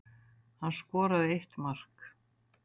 Hann skoraði eitt mark